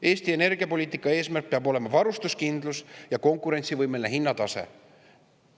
Eesti energiapoliitika eesmärk peab olema varustuskindlus ja konkurentsivõimeline hinnatase.